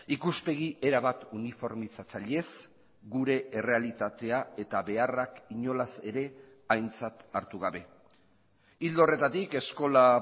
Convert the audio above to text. ikuspegi erabat uniformizatzailez gure errealitatea eta beharrak inolaz ere aintzat hartu gabe ildo horretatik eskola